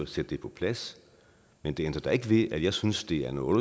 sætte det på plads men det ændrer da ikke ved at jeg synes det er noget